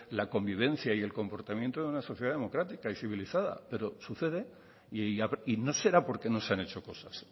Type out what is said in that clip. la convivencia y el comportamiento de una sociedad democrática y civilizada pero sucede y no será porque no se han hecho cosas